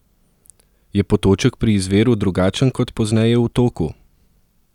Je potoček pri izviru drugačen kot pozneje v toku?